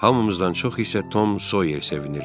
Hamımızdan çox isə Tom Soyer sevinirdi.